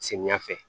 Samiya fɛ